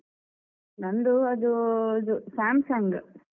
ನಂದು ಅದು ಅದು Samsung.